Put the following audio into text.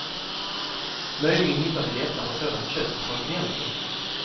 Möjligen hittar vi lättare sådant kött på kontinenten.